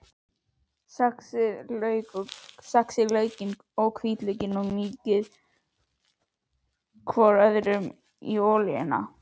Saxið laukinn og hvítlaukinn og mýkið hvort tveggja í olíunni.